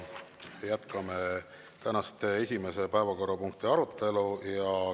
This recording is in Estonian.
Me jätkame tänase esimese päevakorrapunkti arutelu.